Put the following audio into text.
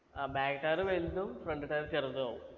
ആ back tire വലുതും front tire ചെറുതു ആവും